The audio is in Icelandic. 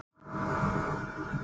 Já auðvitað fór um mann.